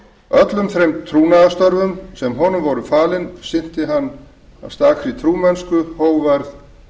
öllum þeim trúnaðarstörfum sem honum voru falin sinnti hann af trúmennsku hógværð